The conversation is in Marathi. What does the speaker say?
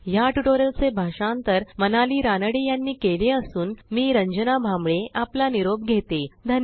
या ट्यूटोरियल चे भाषांतर मनाली रानडे यांनी केले असून मी रंजना भांबळे आपला निरोप घेते160